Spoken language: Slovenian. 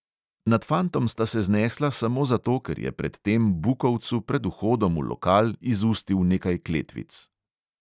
Nad fantom sta se znesla samo zato, ker je pred tem bukovcu pred vhodom v lokal izustil nekaj kletvic.